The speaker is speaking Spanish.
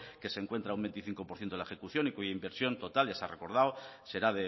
que se encuentra un veinticinco por ciento de la ejecución y cuya inversión total ya se ha recordado será